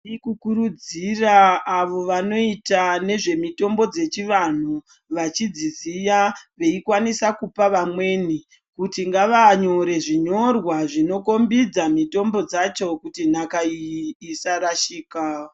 Tirikukurudzira avo vanoita nezvemitombo dzechivanhu vachidziziya veikwanisa kupa vamweni kuti ngavanyore zvinyorwa zvinokombidza mitombo dzacho kuti nhaka iyi isarashika.